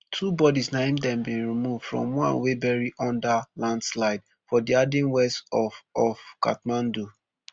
two bodies n aim dem bin remove from one wey bury under landslide for dhading west of of kathmandu